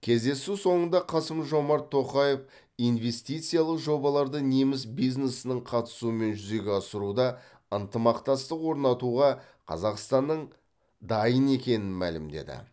кездесу соңында қасым жомарт тоқаев инвестициялық жобаларды неміс бизнесінің қатысуымен жүзеге асыруда ынтымақтастық орнатуға қазақстанның дайын екенін мәлімдеді